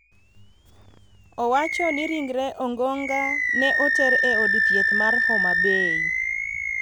owacho ni ringre Ongonga ne oter e od thieth mar Homa Bay.